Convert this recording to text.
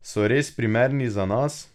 So res primerni za nas?